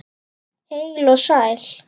Heil og sæl!